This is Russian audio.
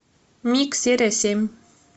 мик серия семь